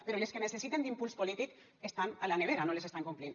però les que necessiten impuls polític estan a la nevera no les estan complint